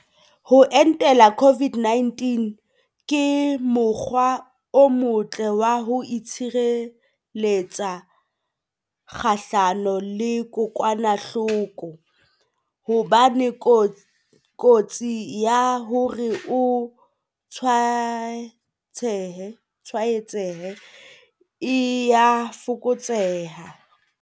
Ho entela COVID-19 ke mo kgwa o motle wa ho itshire letsa kgahlano le kokwana hloko, hobane kotsi ya hore o tswaetsehe e a fokotseha.